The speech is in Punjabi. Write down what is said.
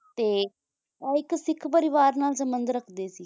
ਤੇ ਉਹ ਇੱਕ ਸਿੱਖ ਪਰਿਵਾਰ ਨਾਲ ਸੰਬੰਧ ਰੱਖਦੇ ਸੀ